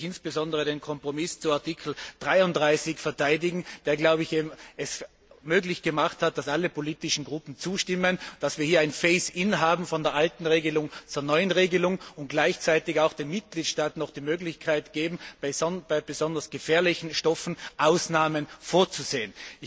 Hier möchte ich insbesondere den Kompromiss zu Artikel 33 verteidigen, der es möglich gemacht hat, dass alle politischen Gruppen zustimmen, dass wir hier ein phase in von der alten Regelung zur neuen Regelung haben und gleichzeitig auch den Mitgliedstaaten noch die Möglichkeit geben, bei besonders gefährlichen Stoffen Ausnahmen vorzusehen.